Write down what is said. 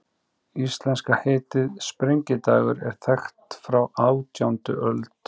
Íslenska heitið, sprengidagur, er þekkt frá átjándu öld.